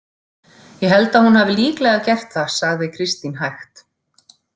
Ég held að hún hafi líklega gert það, sagði Kristín hægt.